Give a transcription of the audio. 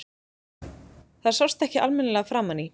Það sást ekki almennilega framan í